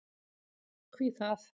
Hví það?